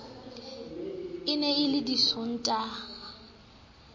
e ne e le disontaha